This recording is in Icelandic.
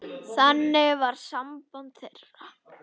Þannig var samband þeirra.